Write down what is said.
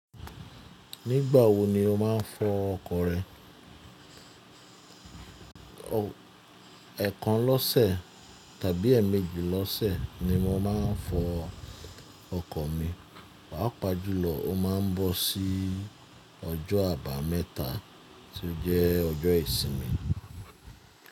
Nígbà wo ni o máa ń fọ ọkọ̀ rẹ? Ẹ̀ekan lọ́sẹ̀ tàbí ẹ̀ẹ̀mẹ́jì lọ́sẹ̀ ni mo máa ń fọ ọkọ̀ mi. Pàá pàjùlọ ó máa ń bọ́ sí ọjọ́ àbámẹ́ta tí ó jẹ́ ọjọ́ ìsinmi.